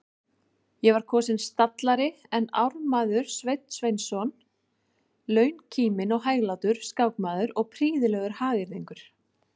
Ég var kosinn stallari en ármaður Sveinn Sveinsson, launkíminn og hæglátur skákmaður og prýðilegur hagyrðingur.